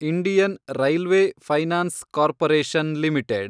Indian Railway Finance Corporation limited